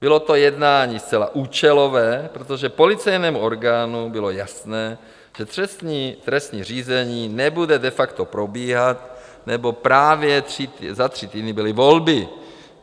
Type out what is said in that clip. Bylo to jednání zcela účelové, protože policejnímu orgánu bylo jasné, že trestní řízení nebude de facto probíhat, neboť právě za tři týdny byly volby.